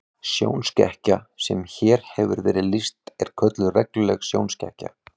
Sjónskekkja sem hér hefur verið lýst er kölluð regluleg sjónskekkja.